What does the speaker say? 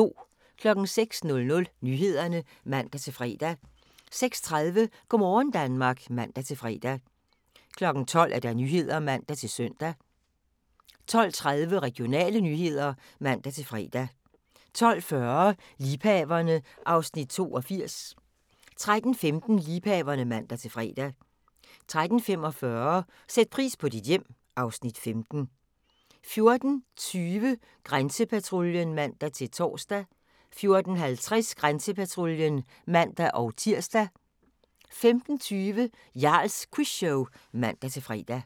06:00: Nyhederne (man-fre) 06:30: Go' morgen Danmark (man-fre) 12:00: Nyhederne (man-søn) 12:30: Regionale nyheder (man-fre) 12:40: Liebhaverne (Afs. 82) 13:15: Liebhaverne (man-fre) 13:45: Sæt pris på dit hjem (Afs. 15) 14:20: Grænsepatruljen (man-tor) 14:50: Grænsepatruljen (man-tir) 15:20: Jarls Quizshow (man-fre)